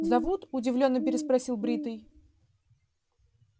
зовут удивлённо переспросил бритый